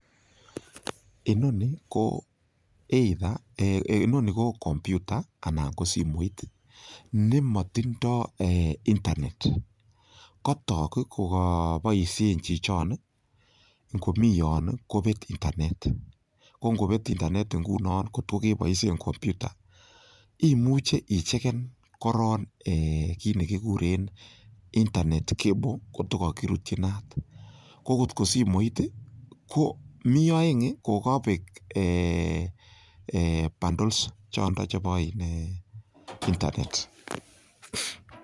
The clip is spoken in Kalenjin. Inoni ko computer anan ko simoit nemotindo internet kotok kogoboishen chichon, ngomi yon kobet internet, ko ngobet internet ngunon kot ko keboishen computer imuche ichegen korong, kit ne kiguren internet cable kotko kogirutyi inat, ko kotko simoit ko mi oeng kogabek bundles chondo chebo internet.